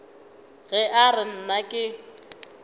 ge a re nna ke